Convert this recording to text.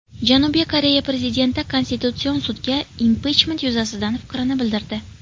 Janubiy Koreya prezidenti Konstitutsion sudga impichment yuzasidan fikrini bildirdi.